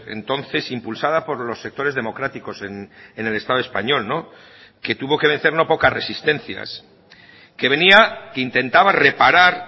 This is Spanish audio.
entonces impulsada por los sectores democráticos en el estado español que tuvo que vencer no pocas resistencias que venía que intentaba reparar